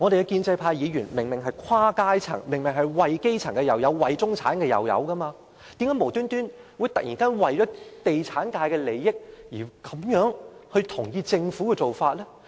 建制派議員明明來自不同階層，既有代表基層市民，也有代表中產階層，為何他們無緣無故突然為了地產界的利益而同意政府的做法呢？